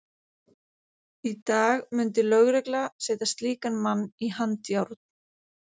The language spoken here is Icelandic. Í dag mundi lögregla setja slíkan mann í handjárn.